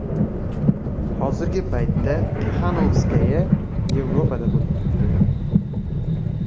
Hozirgi paytda Tixanovskaya Yevropada bo‘lib turibdi .